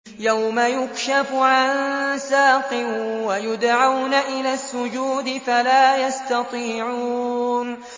يَوْمَ يُكْشَفُ عَن سَاقٍ وَيُدْعَوْنَ إِلَى السُّجُودِ فَلَا يَسْتَطِيعُونَ